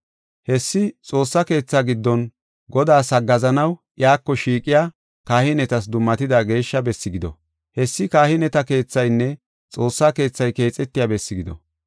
Hessi Xoossa keetha giddon Godaas haggaazanaw, iyako shiiqiya kahinetas dummatida geeshsha bessi gido. Hessi kahineta keethaynne Xoossa keethay keexetiya besse gido.